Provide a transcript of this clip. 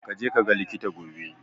Kaje kaga likita gobe.